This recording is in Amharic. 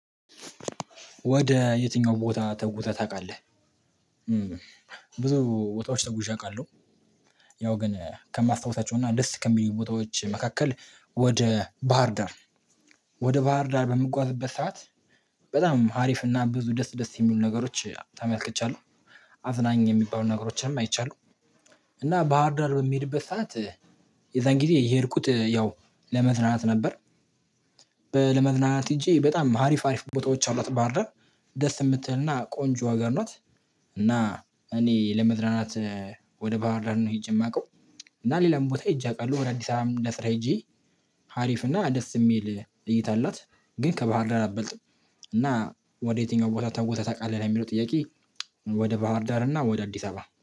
ወደ የትኛው ቦታ ተጉዘህ ታውቃለህ? ብዙ ቦታዎች ተጉዤ አውቃለሁ። ያው ግን ከማስታወሳቸው እና ደስ ከሚሉ ቦታዎች መካከል ወደ ባህርዳር ወደ ባህርዳር በምጓዝበት ሰዓት በጣም ሀሪፍና ብዙ ደስ ደስ የሚሉ ነገሮች ተመልክቻለሁ። አዝናኝ የሚባሉ ነገሮችንም አይቻለሁ። እና ባህርዳር በሚሄድበት ሰዓት የዛን ጊዜ የሄድኩት ያው ለመዝናናት ነበር። ለመዝናናት ሄጄ በጣም ሀሪፍ ሀሪፍ ቦታዎች አሏት ባህር ዳር ደስ የምትልና ቆንጆ አገር ናት። እና እኔ ለመዝረናት ወደ ባህር ዳር ነው ሄጄ የማውቀው። እና ሌላም ቦታ ሄጄ አውቃለሁ ወደ አዲስ አበባም ለስራ ሄጄ ሀሪፍ እና ደስ የሚል እይታ አላት። ግን ከባህር ዳር አትበልጥም። እና ወደ የትኛው ቦታ ተዘህ ታውቃለህ ልሚለው ጥያቄ? ወደ ባህር ዳር እና ወደ አዲስ አበባ